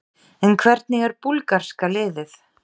En hvernig er búlgarska liðið?